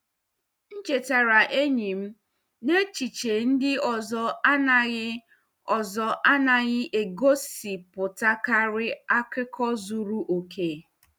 M chetaara enyi m na echiche ndị ọzọ anaghị ọzọ anaghị egosipụtakarị akụkọ zuru oke.